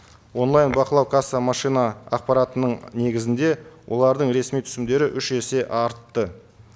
онлайн бақылау касса машина ақпаратының негізінде олардың ресми түсімдері үш есе артты